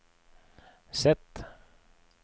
Z